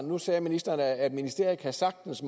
nu sagde ministeren at ministeriet sagtens